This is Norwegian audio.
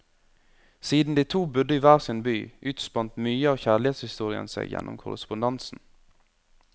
Siden de to bodde i hver sin by, utspant mye av kjærlighetshistorien seg gjennom korrespondansen.